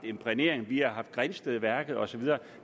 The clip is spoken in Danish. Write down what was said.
imprægnering vi har haft grindstedværket og så videre